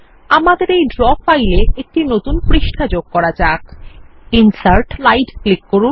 আমাদের এই ড্র ফাইলে একটি নতুন পৃষ্ঠা যোগ করা যাক ইনসার্ট স্লাইড এ ক্লিক করুন